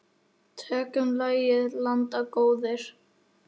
Tökum lagið, landar góðir.